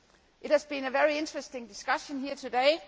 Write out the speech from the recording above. It has been a very interesting discussion here today.